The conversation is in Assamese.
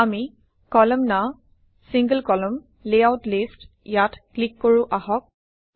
আমি কলামনাৰ single কলামন লেয়াউট লিষ্ট ইয়াত ক্লিক কৰোঁ আহক